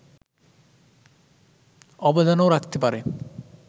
অবদানও রাখতে পারে